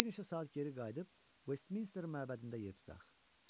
Bir neçə saat geri qayıdıb Westminster məbədində yer tutaq.